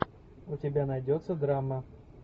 у тебя найдется драма